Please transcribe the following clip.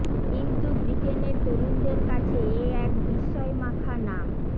কিন্তু ব্রিটেনের তরুণদের কাছে এ এক বিস্ময় মাখা নাম